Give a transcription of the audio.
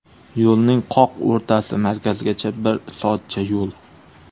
Yo‘lning qoq o‘rtasi, markazgacha bir soatcha yo‘l.